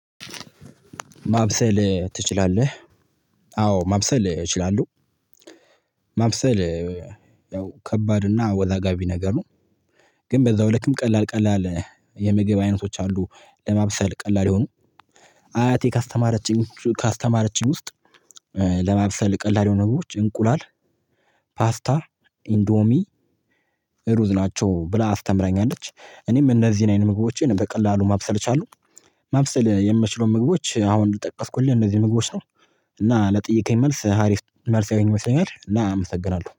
ማብሰል ትችላለህ? አዎ ማብሰል እችላለሁ። ማብሰል ያው ከባድና አወዛጋቢ ነገር ነው። ግን በዛው ልክም ቀላል ቀላል የምግብ አይነቶች አሉ። ለማብሰል ቀላል የሆኑ። አያቴ ካስተማረችኝ ካስተማረችኝ ውስጥ ለማብሰል ቀላል የሆኑ ነገሮች እንቁላል ፓስታ ኢንዶሚ ሩዝ ናቸው ብላ አስተምረኛለች። እኔም እነዚህን አይነት ምግቦችን በቀላሉ ማብሰል እችላለሁ። ማብሰል የምችለው ምግቦች አሁን የጠቀስኩልህ እንደዚህ ምግቦች ነው። እና ለጠየከኝ መልስ ሀሪፍ መልስ ያየኝ መሰለኝ እና አመሰግናለሁ